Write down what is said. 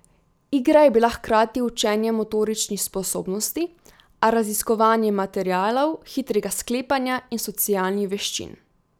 Igra je bila hkrati učenje motoričnih sposobnosti, raziskovanje materialov, hitrega sklepanja in socialnih veščin.